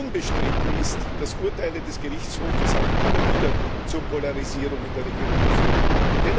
Unbestritten ist, dass Urteile des Gerichtshofs auch immer wieder zur Polarisierung in der Region geführt haben.